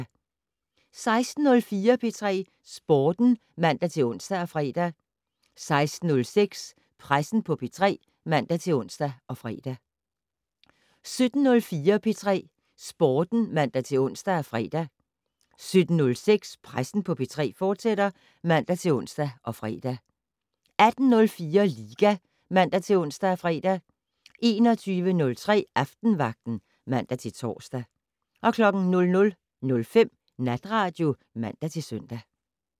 16:04: P3 Sporten (man-ons og fre) 16:06: Pressen på P3 (man-ons og fre) 17:04: P3 Sporten (man-ons og fre) 17:06: Pressen på P3, fortsat (man-ons og fre) 18:04: Liga (man-ons og fre) 21:03: Aftenvagten (man-tor) 00:05: Natradio (man-søn)